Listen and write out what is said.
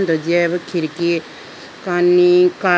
to deyayibo khidki kani kap.